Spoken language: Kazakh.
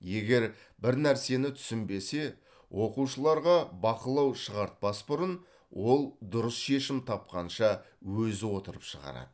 егер бір нәрсені түсінбесе оқушыларға бақылау шығартпас бұрын ол дұрыс шешім тапқанша өзі отырып шығарады